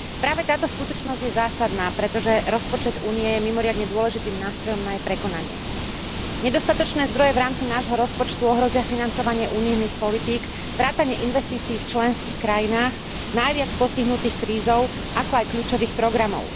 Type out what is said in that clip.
Práve táto skutočnosť je zásadná, pretože rozpočet Únie je mimoriadne dôležitým nástrojom na jej prekonanie. Nedostatočné zdroje v rámci nášho rozpočtu ohrozia financovanie politík Únie vrátane investícií v členských krajinách najviac postihnutých krízou, ako aj kľúčových programov.